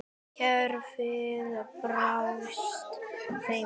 Kerfið brást þeim.